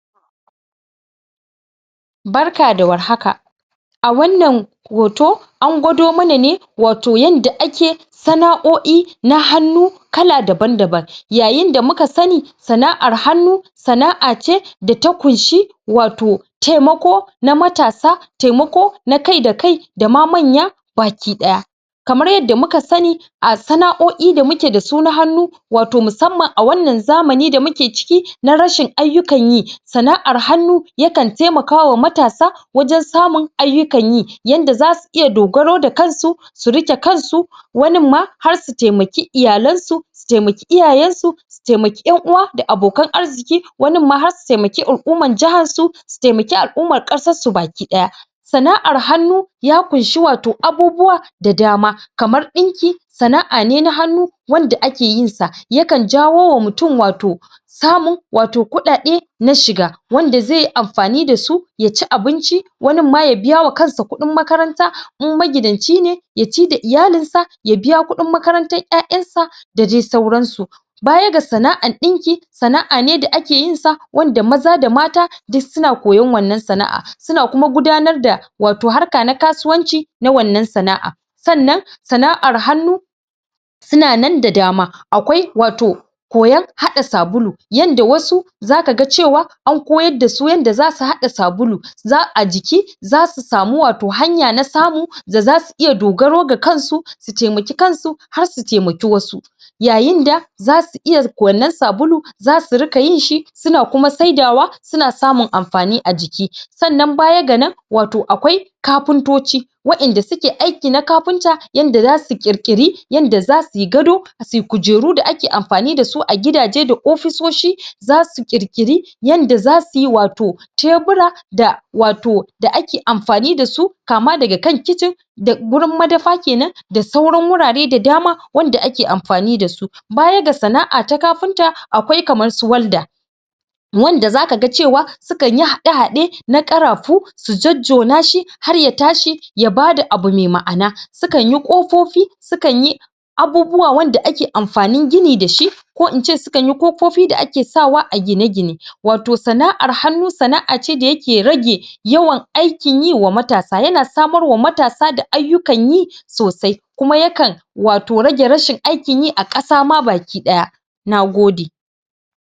Barka da warhaka a wannan hoto an gwado mana me wato yanda ake sana'o'i na hannu kala daban-daban yayin da muka sani, sana'ar hannu sana'a ce da ta kunshi wato taimako na matasa taimako na kai da kai da ma manya bakidaya kamar yadda muka sani a sana'o'i da muke dasu na hannu wato musamman a wannan zamani da muke ciki na rashin ayyukan yi, sana'ar hannu ya kan taimakawa matasa wajen samun ayyukan yi yanda zasu iya dogaro da kansu su rike kansu wanin ma har su taimaki iyalansu su taimaki iyayensu su taimaki yanuwa da abokan arziki wanin ma har su taimaki al'umkar jiharsu, su taimaki al'ummar kasar su bakidaya. sana'ar hannu ya kunshi wato abubuwa da dama, kamar dinki sana'a ne na hannu wanda aka yinsa, ya kan jawowa mutm wato samun wato kudade na shiga, wanda zai amfani dasu ya ci abinci wanin ma ya biyawa kansa kudin makaranta, in magidanci ne ya ci da iyalinsa ya biya kudin makarantar yayansa da dai sauransu. Baya ga sana'ar dinki, sana'a ne da ake yinsa wanda maza da mata uk suna koyon wannan sana'a suna kuma gudanar da wato harka na kasuwancina wannan sana'an Sannan sana'ar hannu Sannan sana'ar hannu suna nan da dama akwai wato koyon hada sabulu yanda wasu zaka ga cewa za'a ji- a jiki zaau samu wato hanya na samu da zasu iya dogaro da kansu su taimaki kansu har su taimaki wasu, yayin da zasu iya wannan sabulun, zasu rika yinshi suna kuma saidawa suna samun amfani a jiki. sannan baya ga nan wato akwai kafintoci wandanda suke aikin na kafinta yanda zasu kirkiru yadda za suyi suyi kujeru da ake amfani dasu a gidaje da ofisoshi, zasu kirkiri yanda za suyi wato tebura-da wato da ake amfani dasu kama daga kicin da gurin madafa kenan da sauran wurare da dama wanda ake amfani dasu. Baya ga sana'a ta kafinta akwai kamar su walda, wanda zaka cewa su kanyi hade-hade na karafu su jojjona shi har ya tashi ya bada abu mai ma'ana, su kanyi kofofi, su kan yi abubuwa wanda ake amfanin gini dashi ko ince su kanyi kofofi da ake sawa a gine-gine wato sana'ar hanku sana'a ce dake rage yawan aikin yi ga matasa yana samarwa matasa da aikin yi sosai, kuma ya kan rage wato rashin aikin yi a kasa ma bakidaya. Nagode.